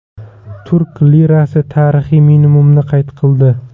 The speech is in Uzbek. Turk lirasi tarixiy minimumni qayd qildi.